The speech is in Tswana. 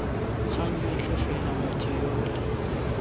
kgang yotlhe fela motho yole